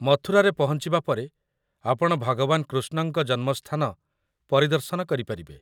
ମଥୁରାରେ ପହଞ୍ଚିବା ପରେ ଆପଣ ଭଗବାନ କୃଷ୍ଣଙ୍କ ଜନ୍ମସ୍ଥାନ ପରିଦର୍ଶନ କରିପାରିବେ।